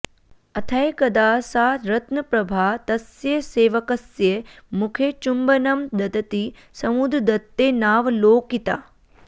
अथैकदा सा रत्नप्रभा तस्य सेवकस्य मुखे चुम्बनं ददती समुद्रदत्तेनावलोकिता